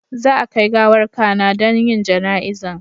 Za a kai gawar Kana don yin jana'izan